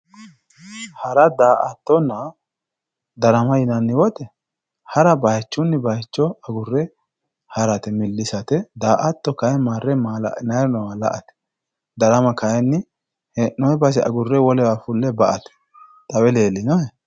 Hara daa"attonna darama yinanni woyte hara bayichunni baycho agurre harate millisate daa"atto kayinni marre maala'linayri noowa la"ate darama kayinni hee'noyi base agurre wolewa fulle ba"ate xawe leellinohe